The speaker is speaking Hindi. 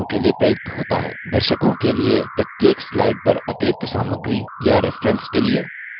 दर्शकों के लिए प्रत्येक slide पर अतिरिक्त सामग्री या रेफ्रेन्सेस के लिए